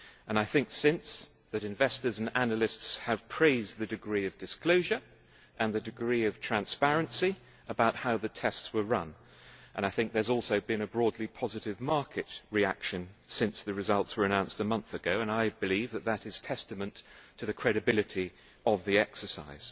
I think, since, that investors and analysts have praised the degree of disclosure and the degree of transparency about how the tests were run, and I think that there has also been a broadly positive market reaction, since the results were announced a month ago, and I believe that is testament to the credibility of the exercise.